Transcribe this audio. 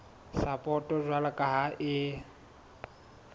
sapoto jwalo ka ha e